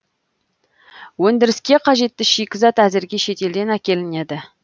өндіріске қажетті шикізат әзірге шетелден әкелінеді